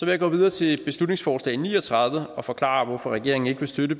jeg gå videre til beslutningsforslag b ni og tredive og forklare hvorfor regeringen ikke vil støtte